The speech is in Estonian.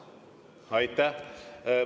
Aitäh!